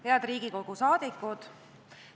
Head Riigikogu liikmed!